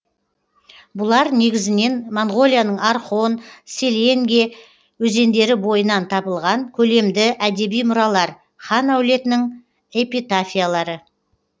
бұлар негізінен моңғолияның орхон селенге өзендері бойынан табылған көлемді әдеби мұралар хан әулетінің эпитафиялары